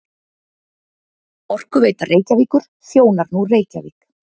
Orkuveita Reykjavíkur þjónar nú Reykjavík